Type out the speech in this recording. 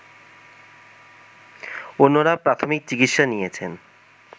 অন্যরা প্রাথমিক চিকিৎসা নিয়েছেন